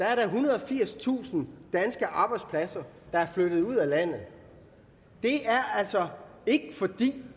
er der ethundrede og firstusind danske arbejdspladser der er flyttet ud af landet det er altså ikke fordi